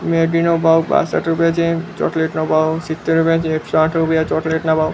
Maggi નો ભાવ ૬૫ રૂપિયા છે ચોકલેટ નો ભાવ ૭૦ રૂપિયા છે ૬૦ રૂપિયા ચોકલેટ નો ભાવ--